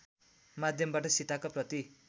माध्यमबाट सीताका प्रति